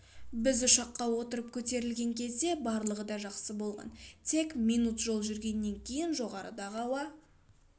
біз ұшаққа отырып көтерілген кезде барлығы да жақсы болған тек минут жол жүргеннен кейін жоғарыдағы ауа